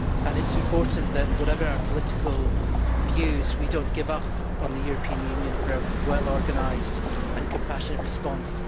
It is important that, whatever our political views, we do not give up on the European Union for a well organised and compassionate response.